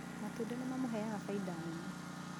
Matunda nĩ mamũheaga faida nene